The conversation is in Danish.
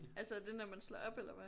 Altså er det når man slår op eller hvad